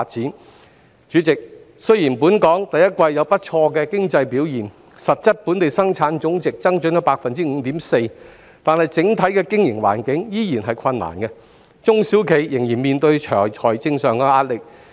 代理主席，雖然本港第一季有不俗的經濟表現，實質本地生產總值增長了 5.4%， 但整體的經營環境仍然困難，中小企依然面對財政上的壓力。